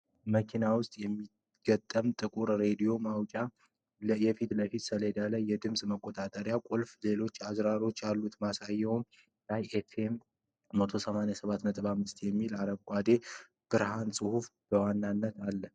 መኪና ውስጥ የሚገጠም ጥቁር ራዲዮ ማጫወቻ ። የፊት ለፊት ሰሌዳው ላይ የድምጽ መቆጣጠሪያ ቁልፍና ሌሎች አዝራሮች አሉ። ማሳያው ላይ "ፍም 1 87.5" የሚል የአረንጓዴ ብርሃን ጽሑፍ በዋናነት አለ።